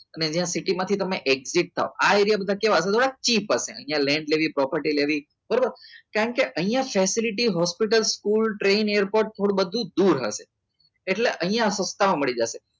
અને જ્યાં સિટીમાંથી તમે exit થાવ આ એરિયા કેવાથી પાસે અહીંયા length લેવી property લેવી કારણ કે અહીંયા facility hospital school train airport બધું દૂર હશે એટલે અહીંયા સસ્તામાં મળી જશે